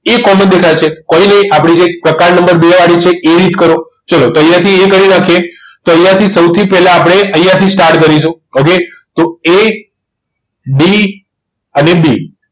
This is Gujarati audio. એ જ common દેખાય છે કોઈ નહીં આપણી જે એક પ્રકાર નંબર બે વાળી છે એ રીત કરો જો અહીંયા થી એ કરી રાખીએ તો અહીંયા થી સૌથી પહેલા આપણે અહીંયા થી start કરીશું એટલે તો AD અને D